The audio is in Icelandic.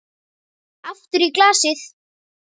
Aftur í glasið.